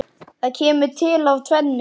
Það kemur til af tvennu.